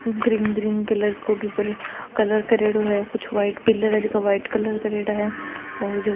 Green green colour को colour करेडो है कुछ व्हाइट पिलर है जेका व्हाइट कलर करेड़ा है।